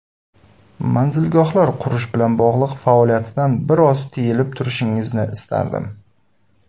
Manzilgohlar qurish bilan bog‘liq faoliyatdan biroz tiyilib turishingizni istardim.